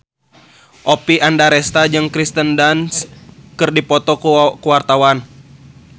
Oppie Andaresta jeung Kirsten Dunst keur dipoto ku wartawan